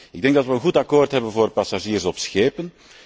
Ik denk dat we een goed akkoord hebben voor passagiers op schepen.